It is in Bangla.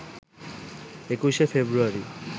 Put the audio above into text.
২১শে ফেব্রুয়ারি